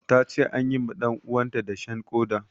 Ta ce an yi ma ɗanuwanta dashen ƙoda.